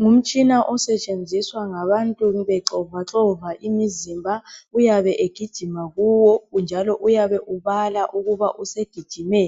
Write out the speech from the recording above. Ngumtshina osetshenziswa ngabantu bexovaxova imizimba uyabe egijima kuwo njalo uyabe ubala ukuba usegijime